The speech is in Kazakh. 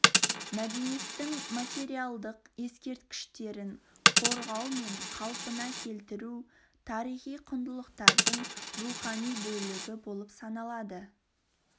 мәдениеттің материалдық ескерткіштерін қорғау мен қалпына келтіру тарихи құндылықтардың рухани бөлігі болып саналады